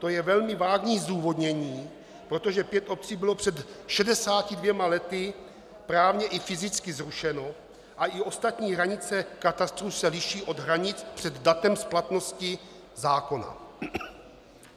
To je velmi vágní zdůvodnění, protože pět obcí bylo před 62 lety právně i fyzicky zrušeno a i ostatní hranice katastru se liší od hranic před datem splatnosti zákona.